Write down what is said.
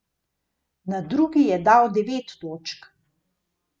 Na drugi je dal devet točk.